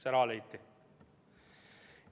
See raha leiti.